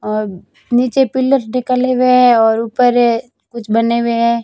और नीचे पिलर्स निकाले हुए हैं और ऊपर कुछ बने हुए हैं।